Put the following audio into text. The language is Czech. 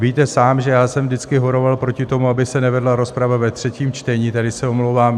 Víte sám, že já jsem vždycky horoval proti tomu, aby se nevedla rozprava ve třetím čtení, tedy se omlouvám.